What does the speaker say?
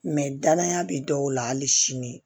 danaya be dɔw la hali sini